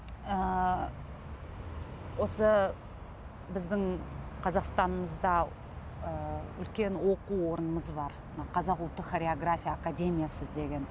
ыыы осы біздің қазақстанымызда ы үлкен оқу орнымыз бар мына қазақ ұлттық хореография академиясы деген